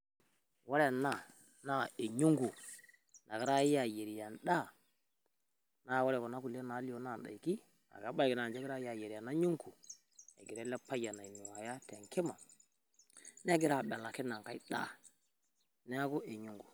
Ore ena naa eny'ungu nagirai aayierie endaa naa ore kuna kulie naalio naa indaaiki ebaiki naa ninche egirai aayierie ena ny'ungu, egira ele payian ainuaaya te enkima negira abelaki ina ng'ai daa, neeku e ny'ungu.